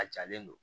A jalen don